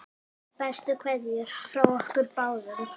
Bestu kveðjur frá okkur báðum.